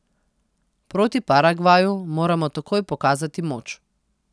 Proti Paragvaju moramo takoj pokazati moč.